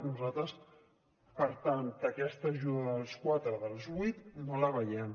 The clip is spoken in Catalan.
nosaltres per tant aquesta ajuda dels quatre dels vuit no la veiem